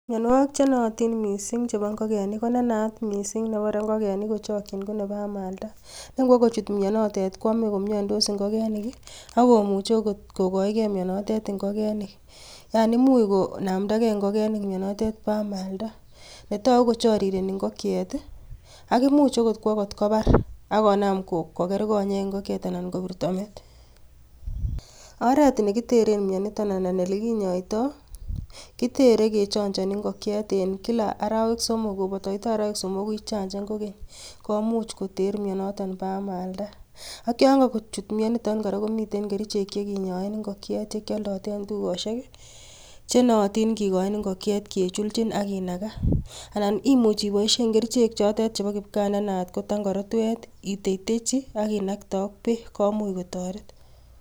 Mionwogiik chenootin missing chebo ingogenik, konenaat missing nebore ingokenik kochokchiin konebo amaldaa. Nengwokochut mionotet, konome komiondoos ingogenik, akomoche okot kokochigei myoonotet ingogenik. Yaani imuch konamdager ingigenik mionotet bo amaldaa, netogu kochoorirenii ingokyeet ak imuch okot kwo kotkobaar. Akonam koger konyeek ingokyeet, anan kobirtoo meet. Oret nekiteren mionitok, anan olekinyoitoi, kitere kechonchoni ingokyeet en kila arawek somok. Kobotoitoi arawek somoku ichanchan kokeny, komuch koter mionotok bo amaldaa. Ak yon, kokochut mionitok kora komiten kerichek, chekinyoen ingokyet chekioldotee en tukosiek, chenootin kikochin ingokyet kechulchin ak kinagaa. Anan much iboishien kerichek, chotet chepo kipgaa chenaat ko tang'oorotwet, iteitechii ak inaktee ak beek komuch kotoret.